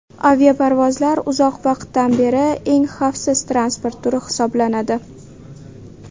Aviaparvozlar uzoq vaqtdan beri eng xavfsiz transport turi hisoblanadi.